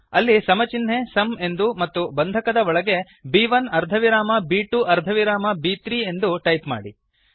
ಅಲ್ಲಿ ಸಮ ಚಿನ್ಹೆ ಸುಮ್ ಎಂದೂ ಮತ್ತು ಬಂಧಕದ ಬ್ರೇಸ್ ಒಳಗೆ ಬ್1 ಅರ್ಧವಿರಾಮ ಬ್2 ಅರ್ಧವಿರಾಮ ಬ್3 ಎಂದೂ ಟೈಪ್ ಮಾಡಿ